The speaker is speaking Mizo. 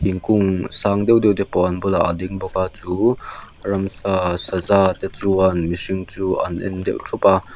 thingkûng sâng deuh deuhte pawh an bulah a ding bawk a chu ramsa saza te chuan mihring chu an en deuh ṭhup a--